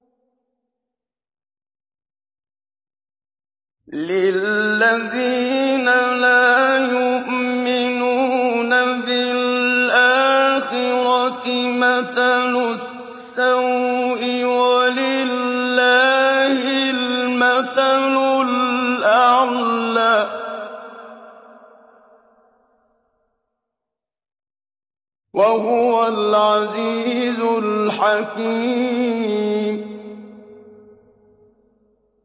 لِلَّذِينَ لَا يُؤْمِنُونَ بِالْآخِرَةِ مَثَلُ السَّوْءِ ۖ وَلِلَّهِ الْمَثَلُ الْأَعْلَىٰ ۚ وَهُوَ الْعَزِيزُ الْحَكِيمُ